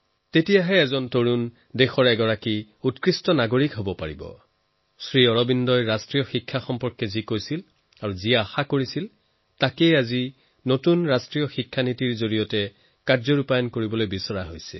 তেতিয়াহে এজন যুৱক দেশৰ অধিক উন্নত নাগৰিক হব পাৰে শ্ৰী অৰবিন্দই ৰাষ্ট্ৰীয় শিক্ষাক লৈ যি কথা তেতিয়াই কৈছিল যি আশা কৰিছিল আজি দেশে তাক নতুন ৰাষ্ট্ৰীয় শিক্ষা নীতিৰ জৰিয়তে সম্পূৰ্ণ কৰি আছে